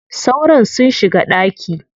Sauron sun shiga ɗaki.